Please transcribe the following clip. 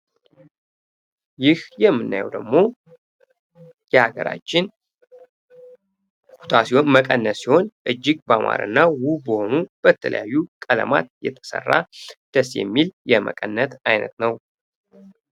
ይህ ምናየው ደግሞ የሀገራችን ኩታ ሲሆን መቀነስ ሲሆን እጅግ በአማሩና ውብ በሆኑ የተለያዩ ቀለማት የተሰራ ደስ የሚል የመቀነስ አይነት ነው።